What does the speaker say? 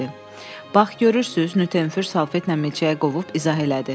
"Bax, görürsüz" Nyuternfür salfetlə milçəyi qovub izah elədi.